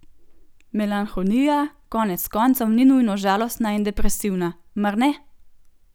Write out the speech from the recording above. Melanholija koneckoncev ni nujno žalostna in depresivna, mar ne?